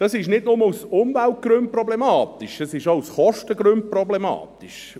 Dies ist nicht nur aus Umweltgründen problematisch, es ist auch aus Kostengründen problematisch.